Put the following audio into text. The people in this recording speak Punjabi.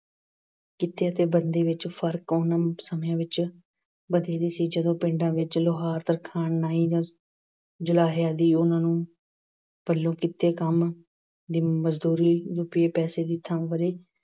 ਕਿੱਤੇ ਅਤੇ ਧੰਦੇ ਵਿੱਚ ਫਰਕ ਉਹਨਾਂ ਨੂੰ ਸਮੇਂ ਵਿੱਚ ਵਧੇਰੇ ਸੀ, ਜਦੋਂ ਪਿੰਡਾਂ ਵਿੱਚ ਲੁਹਾਰ, ਤਰਖਾਣ, ਨਾਈ, ਜੁਲਾਹੇ ਆਦਿ ਉਹਨਾਂ ਨੂੰ ਪੱਲੋਂ ਕੀਤੇ ਕੰਮ ਦੀ ਮਜ਼ਦੂਰੀ, ਰੁਪਏ, ਪੈਸੇ ਦੀ ਥਾਂ ਵਰ੍ਹੇ